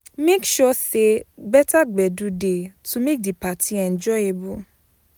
Make sure say better gbedu de to make di parti enjoyable